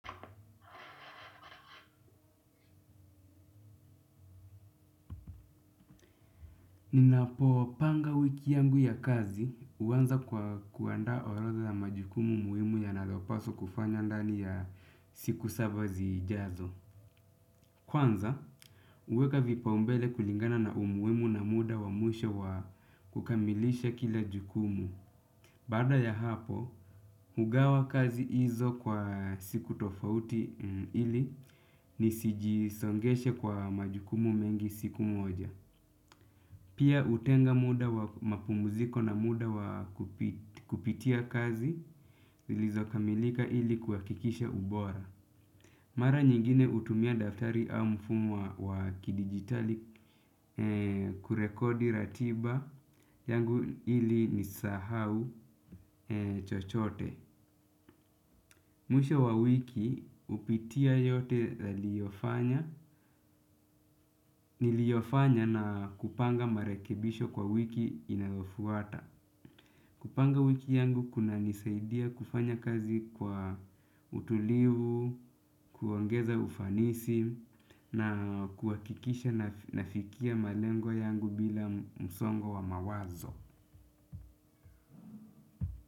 Ninapopanga wiki yangu ya kazi uanza kwa kuandaa orodha ya majukumu muhimu yanayopaswa kufanya ndani ya siku saba zijazo. Kwanza, huweka vipaumbele kulingana na umuhimu na muda wa mwisho wa kukamilisha kila jukumu. Baada ya hapo, hugawa kazi izo kwa siku tofauti ili nisijisongeshe kwa majukumu mengi siku moja. Pia utenga muda wa mapumuziko na muda wa kupitia kazi zilizokamilika ili kuhakikisha ubora. Mara nyingine utumia daftari au mfumu wa kidigitali kurekodi ratiba yangu ili nisahau chochote. Mwisho wa wiki upitia yote liyofanya na kupanga marekebisho kwa wiki inayofuata. Kupanga wiki yangu kunanisaidia kufanya kazi kwa utulivu, kuongeza ufanisi na kuhakikisha nafikia malengo yangu bila msongo wa mawazo.